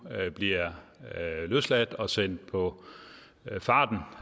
bliver løsladt og sendt på farten